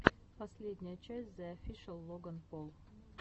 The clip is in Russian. последняя часть зе офишэл логан пол